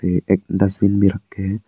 एक डस्टबिन भी रखे हैं।